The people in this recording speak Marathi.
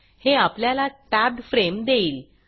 हे आपल्याला टॅब्ड frameटेब्ब्ड फ्रेम देईल